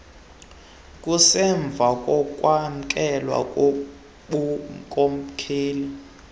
kusemva kokwamkelwa kobunkokheli